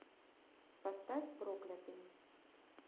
поставь проклятый